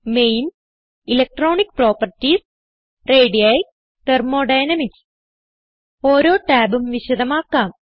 main electronic properties ready thermodynamics ഓരോ ടാബും വിശദമാക്കാം